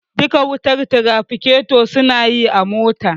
Duka wutar tirafiketo suna yi a motar